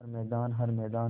हर मैदान हर मैदान